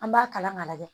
An b'a kalan k'a lajɛ